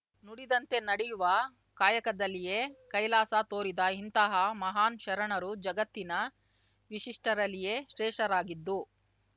ನುಡಿದಂತೆ ನಡೆಯುವ ಕಾಯಕದಲ್ಲಿಯೆ ಕೈಲಾಸ ತೋರಿದ ಇಂತಹ ಮಹಾನ್‌ ಶರಣರು ಜಗತ್ತಿನ ವಿಶಿಷ್ಟರಲ್ಲಿಯೆ ಶ್ರೇಷ್ಠರಾಗಿದ್ದು